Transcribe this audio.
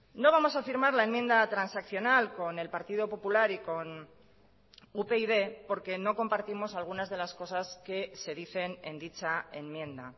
no vamos a firmar la enmienda transaccional con el partido popular y con upyd porque no compartimos algunas de las cosas que se dicen en dicha enmienda